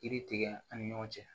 Kiri tigɛ an ni ɲɔgɔn cɛ